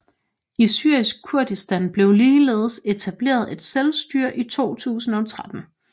I Syrisk Kurdistan blev ligeledes etableret et selvstyre i 2013